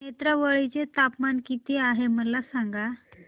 नेत्रावळी चे तापमान किती आहे मला सांगा